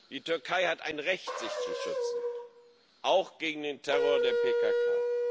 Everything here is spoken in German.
Die Türkei hat ein Recht, sich zu schützen, auch gegen den Terror der PKK.